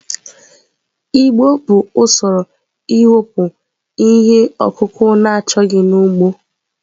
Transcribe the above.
Igbo bụ usoro iwepụ ihe ọkụkụ na-achọghị n'ugbo.